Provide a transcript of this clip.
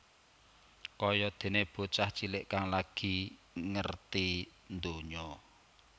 Kaya déné bocah cilik kang lagi ngerti ndonya